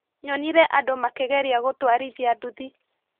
Nyonire andũ makĩgeria gũtwarithia nduthi.